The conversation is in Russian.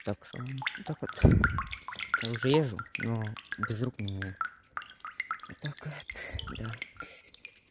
так что так вот я уже езжу но без рук не умею вот так вот да